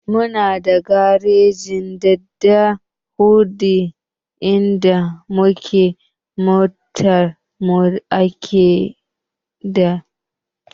Muna da garejin Dadi Honda inda muke motar mu a gyara idan ta lalace.